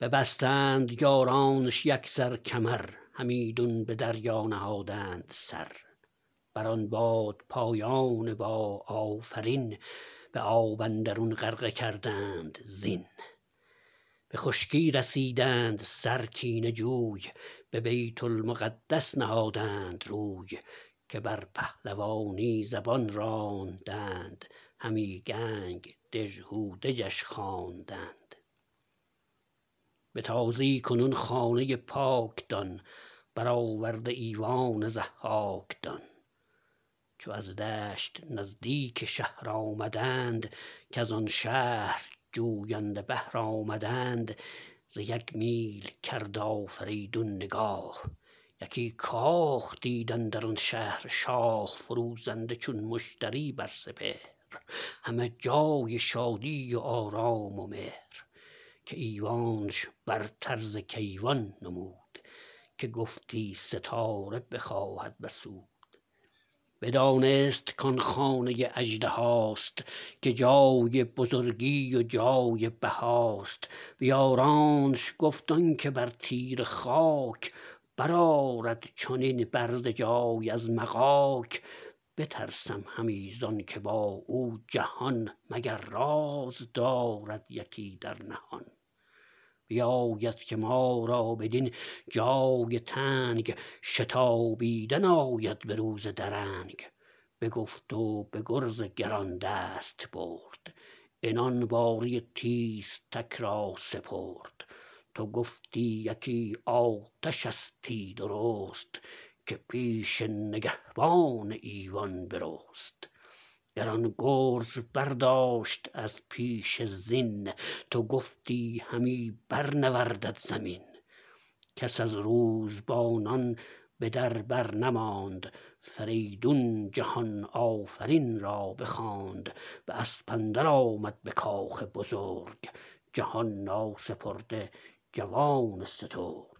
را ببستند یارانش یکسر کمر همیدون به دریا نهادند سر بر آن بادپایان با آفرین به آب اندرون غرقه کردند زین به خشکی رسیدند سر کینه جوی به بیت المقدس نهادند روی که بر پهلوانی زبان راندند همی کنگ دژهودجش خواندند به تازی کنون خانه پاک دان برآورده ایوان ضحاک دان چو از دشت نزدیک شهر آمدند کزان شهر جوینده بهر آمدند ز یک میل کرد آفریدون نگاه یکی کاخ دید اندر آن شهر شاه فروزنده چون مشتری بر سپهر همه جای شادی و آرام و مهر که ایوانش برتر ز کیوان نمود که گفتی ستاره بخواهد بسود بدانست کان خانه اژدهاست که جای بزرگی و جای بهاست به یارانش گفت آنکه بر تیره خاک برآرد چنین برز جای از مغاک بترسم همی زانکه با او جهان مگر راز دارد یکی در نهان بباید که ما را بدین جای تنگ شتابیدن آید به روز درنگ بگفت و به گرز گران دست برد عنان باره تیزتک را سپرد تو گفتی یکی آتشستی درست که پیش نگهبان ایوان برست گران گرز برداشت از پیش زین تو گفتی همی بر نوردد زمین کس از روزبانان به در بر نماند فریدون جهان آفرین را بخواند به اسب اندر آمد به کاخ بزرگ جهان ناسپرده جوان سترگ